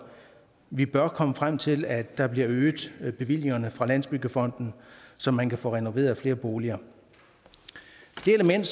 vi bør komme frem til at der bliver øgede bevillinger fra landsbyggefonden så man kan få renoveret flere boliger det element